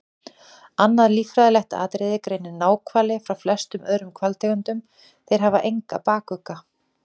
Annað líffræðilegt atriði greinir náhvali frá flestum öðrum hvalategundum- þeir hafa engan bakugga.